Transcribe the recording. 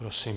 Prosím.